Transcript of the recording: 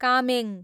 Kameng